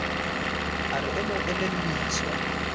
a re o mo elelliswa